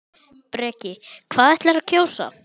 Breki: Hvað ætlarðu að kjósa?